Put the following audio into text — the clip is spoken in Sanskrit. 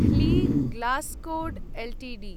ह्ली ग्लास्कोट् एल्टीडी